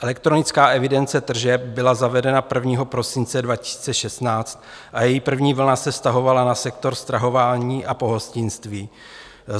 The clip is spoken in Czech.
Elektronická evidence tržeb byla zavedena 1. prosince 2016 a její první vlna se vztahovala na sektor stravování a pohostinství.